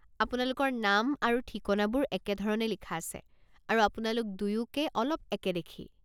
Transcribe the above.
আপোনালোকৰ নাম আৰু ঠিকনাবোৰ একেধৰণে লিখা আছে, আৰু আপোনালোক দুয়োকে অলপ একে দেখি।